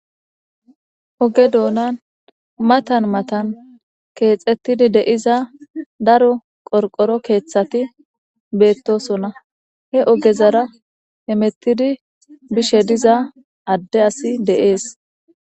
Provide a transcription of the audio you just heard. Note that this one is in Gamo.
oge doonan matan matan keexettidi deiza daro qorqoro keeththati beettosonna he ogezara hemettidi bishe diza adde asi deees